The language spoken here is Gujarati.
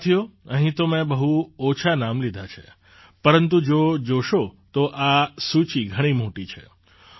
સાથીઓ અહીં તો મેં બહુ ઓછાં નામ લીધાં છે પરંતુ જો જોશો તો આ સૂચિ ઘણી મોટી છે